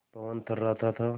पवन थर्राता था